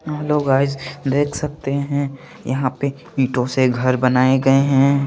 Hello guys देक सकते हे यहा पे इटो से घर बनाए गये हैं।